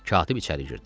Katib içəri girdi.